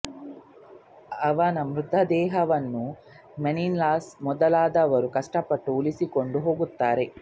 ಅವನ ಮೃತ ದೇಹವನ್ನು ಮೆನೆಲಾಸ್ ಮೊದಲಾದವರು ಕಷ್ಟಪಟ್ಟು ಉಳಿಸಿಕೊಂಡು ಹೋಗುತ್ತಾರೆ